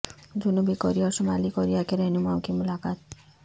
جنوبی کوریا اور شمالی کوریا کے رہنماوں کی ملاقات